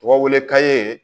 Tɔgɔ wele ka ye